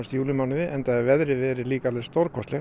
júlímánuði enda hefur veðrið verið alveg stórkostlegt